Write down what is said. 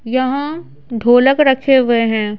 यहाँ ढोलक रखे हुए हैं।